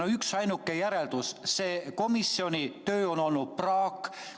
On üksainuke järeldus: selle komisjoni töö on olnud praak.